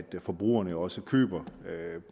forbrugerne også køber